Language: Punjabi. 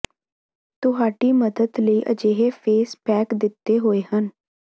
ਤੁਹਾਡੀ ਮਦਦ ਲਈ ਅਜਿਹੇ ਫੇਸ ਪੈਕ ਦਿਤੇ ਹੋਏ ਹਨ